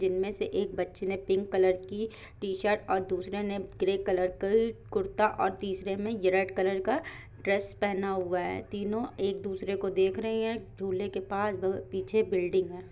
जिनमे से एक बच्ची ने पिंक कलर की टीशर्ट और दूसरे ने ग्रे कलर की कुरता और तीसरा में रेड कलर का ड्रेस पहना हुआ है तीनो एक-दूसरे को देख रही है। झूले के पास पीछे बिल्डिंग है।